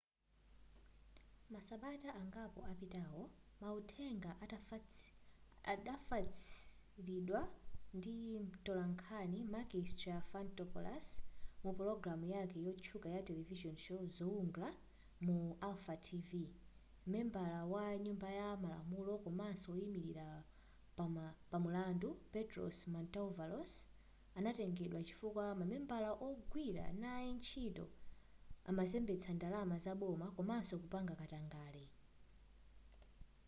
masabata angapo apitawo mauthenga atafalitsidwa ndi mtolankhani makis triantafylopoulos mu pologalamu yake yotchuka ya television show zoungla mu alpha tv membala wa nyumba ya malamulo komanso woyimilira pamulandu petros mantouvalos anatengedwa chifukwa mamembala ogwira naye ntchito amazembetsa ndalama zaboma komanso kupanga katangale